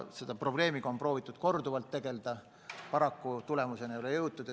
Selle probleemiga on proovitud korduvalt tegelda, paraku tulemuseni ei ole jõutud.